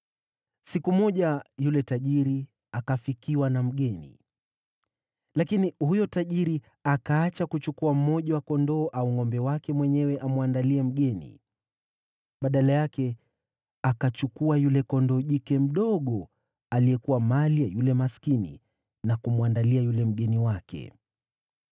“Siku moja yule tajiri akafikiwa na mgeni, lakini huyo tajiri akaacha kuchukua mmoja wa kondoo au ngʼombe wake mwenyewe amwandalie mgeni. Badala yake akachukua yule kondoo jike mdogo aliyekuwa mali ya yule maskini na kumwandalia yule mgeni wake.”